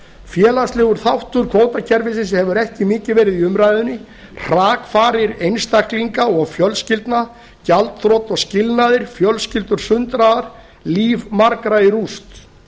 félagslegur þáttur kvótakerfisins hefur ekki verið mikið í umræðunni hrakfarir einstaklinga og fjölskyldna gjaldþrot og skilnaðir fjölskyldur sundraðar líf margra í rúst